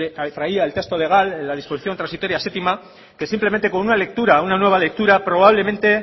lo que traía el texto legal en la disposición transitoria séptima que simplemente con una lectura una nueva lectura probablemente